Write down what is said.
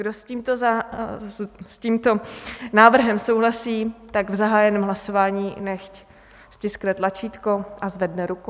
Kdo s tímto návrhem souhlasí, tak v zahájeném hlasování nechť stiskne tlačítko a zvedne ruku.